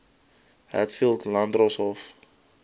hat eld landdroshof